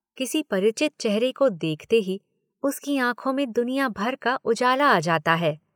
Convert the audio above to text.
किसी परिचित चेहरे को देखते ही उसकी आंखों में दुनिया भर का उजाला आ जाता है।